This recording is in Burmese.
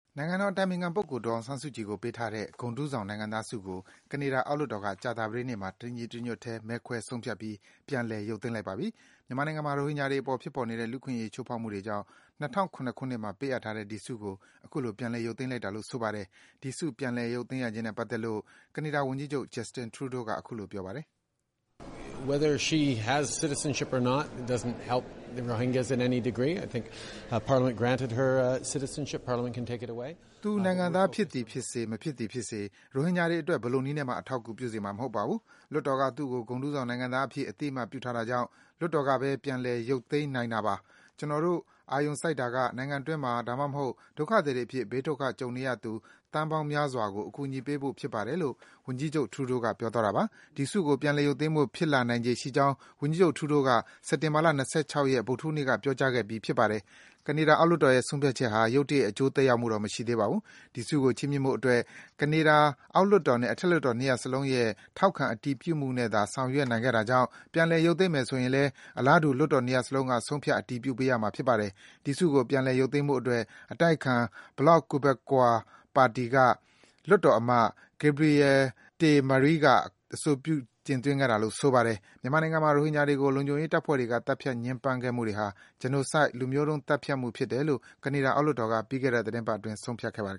နိုင်ငံတော်အတိုင်ပင်ခံပုဂ္ဂိုလ် ဒေါ်အောင်ဆန်းစုကြည်ကို ပေးထားတဲ့ ဂုဏ်ထူးဆောင် နိုင်ငံသားဆုကို ကနေဒါ အောက်လွှတ်တော်က ကြာသပတေးနေ့မှာ တညီတညွတ်ထဲ မဲခွဲဆုံးဖြတ်ပြီး ပြန်လည် ရုပ်သိမ်းလိုက်ပါပြီ။ မြန်မာနိုင်ငံမှာ ရိုဟင်ဂျာတွေအပေါ် ဖြစ်ပေါ်နေတဲ့ လူ့အခွင့်အရေးချိုးဖောက်မှုတွေကြောင့် ၂၀၀၇ နှစ်မှာ ပေးအပ်ထားတဲ့ ဒီဆုကို အခုလို ရုပ်သိမ်းလိုက်တာလို့ ဆိုပါတယ်။ ကနေဒါ ဝန်ကြီးချုပ် Justin Trudeau က ဒီဆု ပြန်လည်ရုပ်သိမ်းရခြင်းနဲ့ပတ်သက်လို့ အခုလို ပြောပါတယ်။ “သူနိုင်ငံသားဖြစ်သည်ဖြစ်စေ၊ မဖြစ်သည်ဖြစ်စေ၊ ရိုဟင်ဂျာတွေအတွက် ဘယ်လိုနည်းနဲ့မှ အထောက်အကူဖြစ်စေမှာ မဟုတ်ပါဘူး။ လွှတ်တော်က သူ့ကို ဂုဏ်ထူးဆောင်နိုင်ငံသားအဖြစ် အသိအမှတ်ပြုထားတာကြောင့် လွှတ်တော်က ပြန်ရုပ်သိမ်းနိုင်တာပါ။ ကျနော်တို့ အာရုံစိုက်တာက နိုင်ငံအတွင်းမှာ၊ ဒါမှမဟုတ် ဒုက္ခသည်တွေအဖြစ် ဘေးဒုက္ခကြုံနေရသူ သန်းပေါင်းများစွာကို အကူအညီပေးဖို့ ဖြစ်ပါတယ်။” ဒီဆုကို ပြန်လည်ရုပ်သိမ်းဖို့ ဖြစ်လာနိုင်ခြေရှိကြောင်း ဝန်ကြီးချုပ် Trudeau က စက်တင်ဘာ ၂၆ ရက် ဗုဒ္ဓဟူးနေ့က ပြောကြားခဲ့ပြီး ဖြစ်ပါတယ်။ ကနေဒါ အောက်လွှတ်တော်ရဲ့ ဆုံးဖြတ်ချက်ဟာ ရုတ်တရက် အကျိုးသက်ရောက်မှုတော့ မရှိသေးပါဘူး။ ဒီဆုကို ချီးမြှင့်ဖို့အတွက် ကနေဒါ အောက်လွှတ်တော်နဲ့ အထက်လွှတ်တော် ၂ ရပ်စလုံးရဲ့ ထောက်ခံအတည်ပြုမှုနဲ့သာ ဆောင်ရွက်နိုင်တာကြောင့် ပြန်လည် ရုပ်သိမ်းမယ် ဆိုရင်လည်း အလားတူ လွှတ်တော် ၂ ရပ်စလုံးက ဆုံးဖြတ် အတည်ပြုပေးရမှာ ဖြစ်ပါတယ်။ ဒီဆုကို ပြန်လည်ရုပ်သိမ်းဖို့အတွက် အတိုက်အခံ Bloc Quebecois ပါတီက လွှတ်တော်အမတ် Gabriel Ste Marie က အဆိုပြု တင်သွင်းခဲ့တာပါ။ မြန်မာနိုင်ငံမှာ ရိုဟင်ဂျာတွေကို လုံခြုံရေးတပ်ဖွဲ့တွေက သတ်ဖြတ်ညှဉ်းပမ်းခဲ့မှုတွေဟာ Genocide လူမျိုးတုံး သတ်ဖြတ်မှုဖြစ်တယ်လို့ ကနေဒါ အောက်လွှတ်တော်က ပြီးခဲ့တဲ့ သီတင်းပတ်အတွင်း ဆုံးဖြတ်ခဲ့ပါတယ်